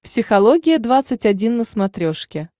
психология двадцать один на смотрешке